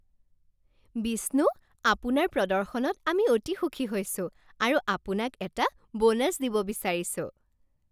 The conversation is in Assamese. বিষ্ণু, আপোনাৰ প্ৰদৰ্শনত আমি অতি সুখী হৈছো আৰু আপোনাক এটা বোনাছ দিব বিচাৰিছোঁ।